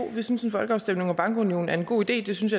vi synes en folkeafstemning om bankunionen er en god idé synes